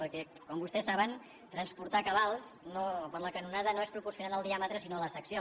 perquè com vostès saben transportar cabals per la canonada no és proporcional al diàmetre sinó a la secció